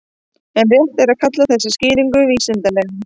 En er rétt að kalla þessa skýringu vísindalega?